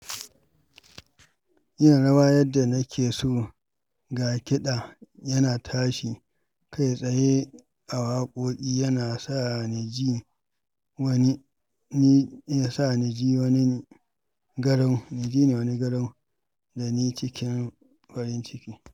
Yin rawa yadda nake so, ga kiɗa yana tashi kai tsaye a waƙoƙi yana sa ji ni wani garau dani cikin farin ciki.